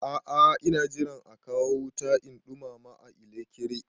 A a ina jiran a kawo wuta in ɗumama a ilekri.